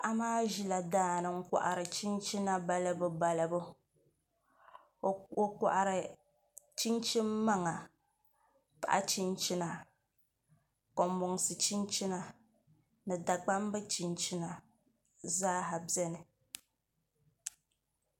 Paɣa maa ʒila daani n kohari chinchina balibu balibu o kohari chinchini maŋa paɣa chinchina konbonsi chinchina ni dagbambi chinchina zaaha biɛni